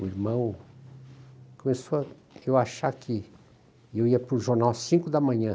O irmão começou a achar que eu ia para o jornal às cinco da manhã.